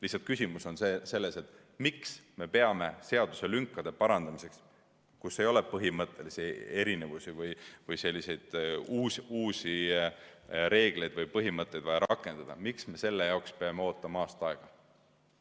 Lihtsalt küsimus on selles, miks me peame seaduselünkade parandamiseks, kus ei ole põhimõttelisi erinevusi või uusi reegleid või põhimõtteid vaja rakendada, ootama aasta aega.